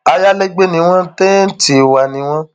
ayalégbé ni wọn tẹńtì wa ni wọn